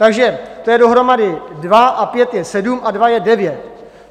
Takže to je dohromady dva a pět je sedm a dva je devět.